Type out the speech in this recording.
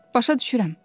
Başa düşürəm.